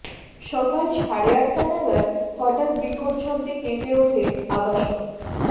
সকাল সাড়ে আটটা নাগাৎ হঠাৎ বিকট শব্দে কেঁপে ওঠে আবাসন